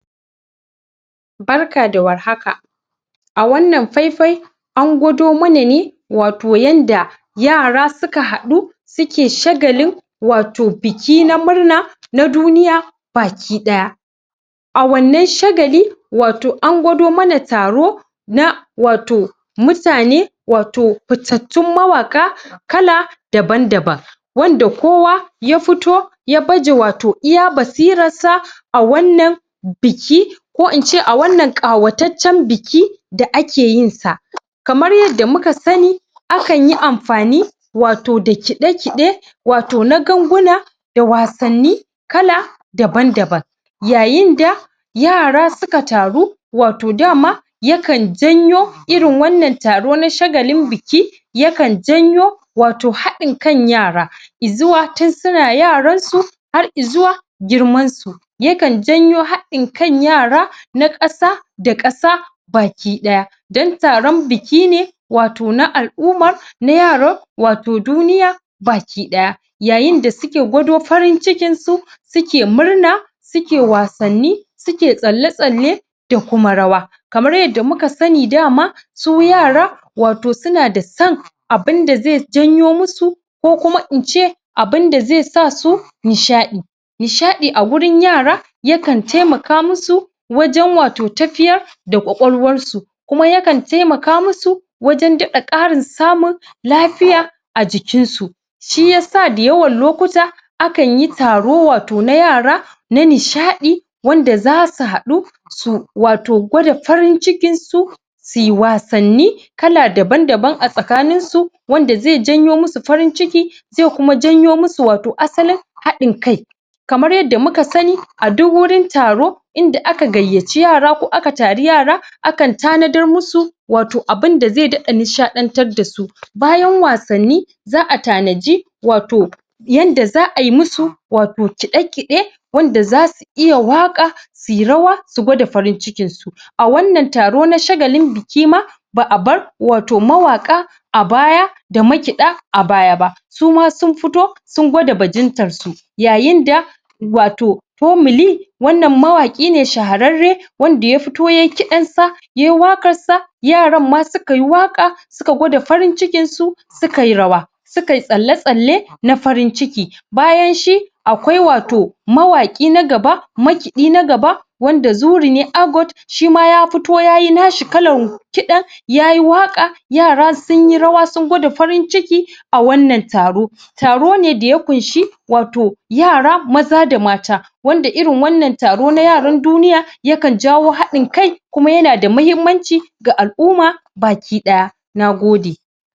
Barka da war haka a wannan faifai an gwado mana ne wato yadda yara suka haɗu suke shagalin wato biki na murna na duniya baki ɗaya a wannan shagali wato an gwado mana taro na wato mutane wato futattun mawaƙa kala daban-daban wanda kowa yafito ya baje wato iya basirar sa a wannan biki ko ince a wannan ƙawataccen biki da ake yinsa kamar yadda muka sani akanyi amfani wato da kiɗa-kiɗe wato na ganguna da wasan ni kala daban-daban yayinda yara suka taru wato dama yakan janyo irin wannan taro na shagalin biki yakan janyo wato haɗin kan yara izuwa tun suna yaransu har izuwa girmansu yakan janyo haɗin kan yara na ƙasa da ƙasa baki ɗaya don taron biki ne wato na al-ummar na yaron wato duniya baki ɗaya yayin da suke gwado farin cikin su suke murna suke wassan ni suke tsalle-tsalle da kuma rawa kamar yadda muka sani dama su yara wato suna da son abun da ze janyo masu ko kuma ince abunda ze sasu nishaɗi nishaɗi a wurin yara yakan temaka masu wajen wato tafiyar da ƙwaƙwalwarsu kuma yakan temaka masu wajen daɗa ƙarin samun lafiya a jikin su shiyasa dayawan lokuta akan yi taro wato na yara na nishaɗi wanda zasu haɗu su wato gwada farin cikin su suyi wasan ni kala daban-daban a tsakanin su wanda ze janyo masu farin ciki ze kuma janyo masu wato asalin haɗin kai kamar yadda muka sani a duk wurin taro inda aka gayacci yara ko aka tari yara akan tanadar masu wato abun da zai daɗa nishaɗantar dasu bayan wassani za'a tanaji wato yadda za'ayi masu wato kiɗe-kiɗe wanda zasu iya waƙa suyi rawa su gwada farincikin su a wannan taro na shagalin biki ma ba'abar wato mawaƙa a baya da makiɗa a baya ba suma sun fito sun gwada bajintar su yayin da wato fomuli wannan mawaki ne shahararre wanda yafito yayi kiɗan sa yayi waƙar sa yaran ma sukayi waƙa suga gwada farin cikin su sukayi rawa sukayi tsalle-tsalle na farin ciki bayanshi akwai wato mawaƙi na gaba makiɗi na gaba wanda zuri ne agot shima ya fito yayi nashi kalan kiɗan yayi waka yara sunyi rawa sun gwada farin ciki a wannan taro taro ne daya ƙunshi wato yara maza da mata wanda irin wannan taro na duniya yakan jawo haɗin kai kuma yana da muhimmaci ga al-umma baki ɗaya nagode